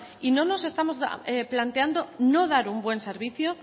y no nos estamos planteando no dar un buen servicio